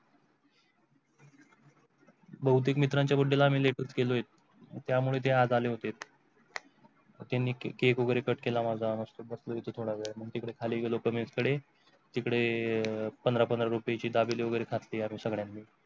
बहुतेक मित्रांच्या birthday आम्ही late केले आहेत. त्यामुळे ते आज आले होते. त्यानी cake वगैरे cut केला माझा मस्त बस्ती थोडा वेळ तिकडे खाली लोकं इकडे तिकडे पंधरा पंधरा दाबेळी वगैरे खाती आम्ही सगळ्यां नी.